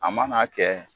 A mana kɛ